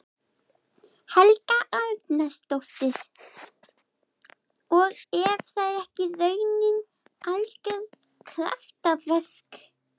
Helga Arnardóttir: Og er það ekki í rauninni algjört kraftaverk?